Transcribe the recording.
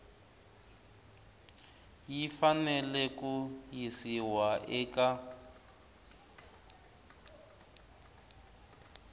yi fanele ku yisiwa eka